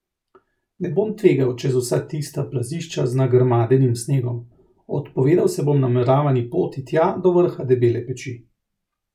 Ne bom tvegal čez vsa tista plazišča z nagrmadenim snegom, odpovedal se bom nameravani poti tja do vrha Debele peči.